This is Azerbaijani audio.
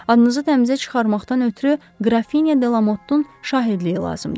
Adınızı təmizə çıxartmaqdan ötrü Qrafinya De Lamottun şahidliyi lazımdır.